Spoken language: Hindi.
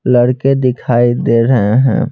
लड़के दिखाई दे रहे हैं।